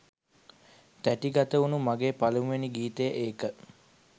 තැටිගත වුණු මගේ පළමුවැනි ගීතය ඒක